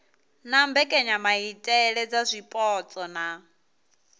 na mbekanyamaitele dza zwipotso na